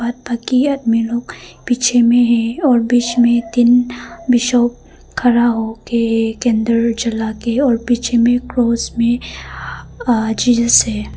में लोग पीछे में है और बीच में तीन बिशप खड़ा होके कैंडल जला के और पीछे में क्रॉस में आह जीजस है।